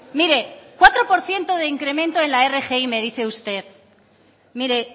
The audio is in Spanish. mire cuatro por ciento de incremento en la rgi me dice usted mire